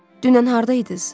Dünən hardaydız?